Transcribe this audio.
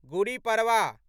Gudi Padwa